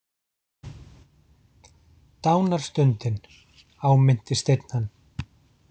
Dánarstundin, áminnti Steinn hann.